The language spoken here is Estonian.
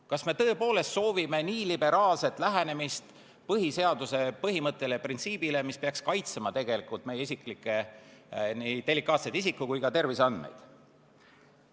Kas me tõepoolest soovime nii liberaalset lähenemist põhiseaduse põhimõttele ja printsiibile, mis peaks kaitsema tegelikult meie isiklikke delikaatseid isiku- ja terviseandmeid?